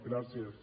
gràcies